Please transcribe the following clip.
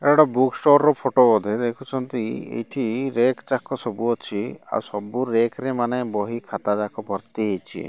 ଏଟା ଗୋଟେ book store ର ଫଟୋ ବୋଧେ ଦେଖୁଛନ୍ତି ଏଇଠି ରେକ୍ ଯାକ ସବୁ ଅଛି ଆଉ ସବୁ ରେକ୍ ରେ ମାନେ ବହି ଖାତା ଯାକ ଭର୍ତ୍ତି ହେଇଚି।